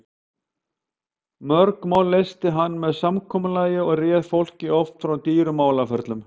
Mörg mál leysti hann með samkomulagi og réð fólki oft frá dýrum málaferlum.